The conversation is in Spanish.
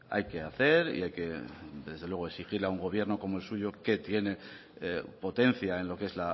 hay que hacer y desde luego exigir a un gobierno como el suyo que tiene potencia en lo que es